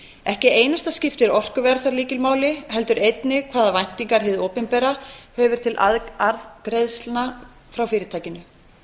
ekki einasta skiptir orkuverð þar lykilmáli heldur einnig hvaða væntingar hið opinbera hefur til arðgreiðslna frá fyrirtækinu